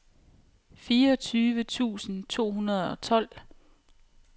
fireogtyve tusind to hundrede og tolv